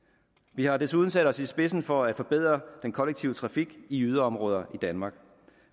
vi har desuden sat os i spidsen for at forbedre den kollektive trafik i yderområder i danmark